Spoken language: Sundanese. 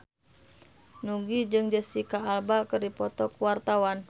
Nugie jeung Jesicca Alba keur dipoto ku wartawan